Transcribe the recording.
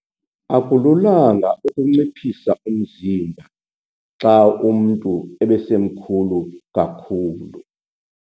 Akululanga ukunciphisa umzimba xa umntu ebesemkhulu kakhulu.